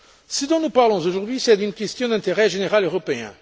Ce dont nous parlons aujourd'hui, c'est d'une question d'intérêt général européen.